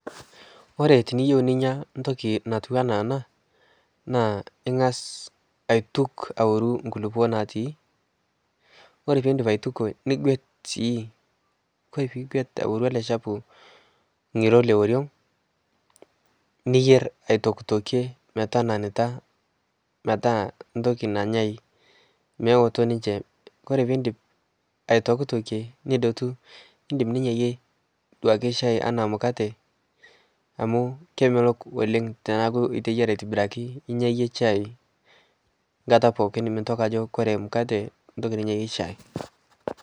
kore tiniyeu ninya ntoki natuwanaa anaa naa ingaz aituk aworuu nkulipoo natii kore piindip aitukoo nigwet sii kore piigwet aworu alee chapuu ngiroo le oriong niyer aitoktokie metananitaa metaa ntokii nanyai mewotoo ninshee kore piindip aitoktokie nidotuu nindim ninyayie duake chai anaa mukatee amu kemelok oleng tanaaku iteyaraa aitibirakii inyayie chai nkataa pookin mintoki ajo kore mukatee ntoki ninyayie chai